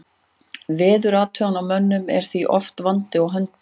Veðurathugunarmönnum er því oft vandi á höndum.